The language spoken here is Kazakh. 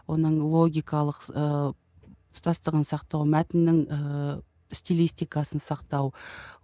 оның логикалық ыыы тұтастығын сақтау мәтіннің ііі стилистикасын сақтау